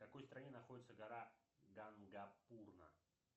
в какой стране находится гора гангапурна